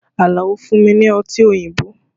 Alao fún mi ní Ọtí òyìnbó